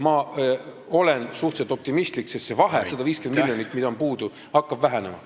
Ma olen suhteliselt optimistlik, sest see vahe, 150 miljonit, mis on puudu, hakkab vähenema.